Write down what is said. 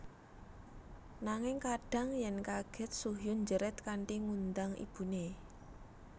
Nanging kadhang yen kaget Soo Hyun njerit kanthi ngundang ibune